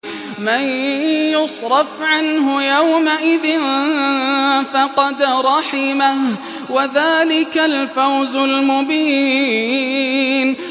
مَّن يُصْرَفْ عَنْهُ يَوْمَئِذٍ فَقَدْ رَحِمَهُ ۚ وَذَٰلِكَ الْفَوْزُ الْمُبِينُ